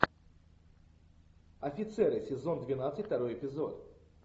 офицеры сезон двенадцать второй эпизод